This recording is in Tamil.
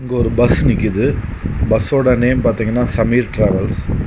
இங்கொரு பஸ் நிக்கிது பஸ்ஸோட நேம் பாத்திங்கனா சமீர் ட்ராவல்ஸ் .